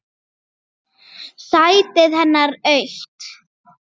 Sætið hennar autt.